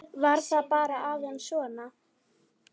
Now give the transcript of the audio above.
Var það bara aðeins svona?